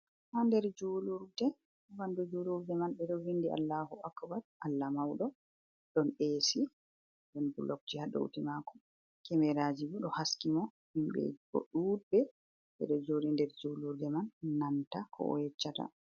Haa nder juulurde, aa ɓanndu julurde man ɓe ɗo vinndi, Allaahu Akbar (Allah mawɗo) ɗon eesi wod bulokji haa dawtii maako, Kemeraaji bo ɗo haski mo himɓe bo ɗuuɗɓe ɓe ɗo jooɗi nder juulurde man nanta ko o yeccata.